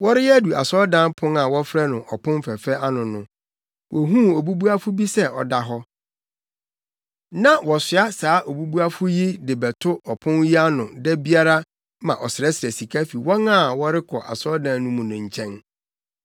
Wɔreyɛ adu asɔredan pon a wɔfrɛ no Ɔpon Fɛfɛ ano no, wohuu obubuafo bi sɛ ɔda hɔ. Na wɔsoa saa obubuafo yi de no bɛto ɔpon yi ano da biara ma ɔsrɛsrɛ sika fi wɔn a wɔrekɔ asɔredan no mu no nkyɛn.